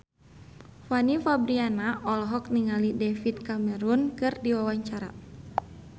Fanny Fabriana olohok ningali David Cameron keur diwawancara